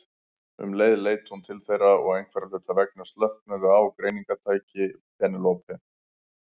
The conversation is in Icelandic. Um leið leit hún til þeirra og einhverra hluta vegna slöknaði á greiningartæki Penélope.